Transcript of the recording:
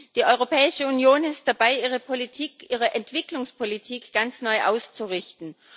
Die Europäische Union ist dabei, ihre Politik, ihre Entwicklungspolitik ganz neu auszurichten.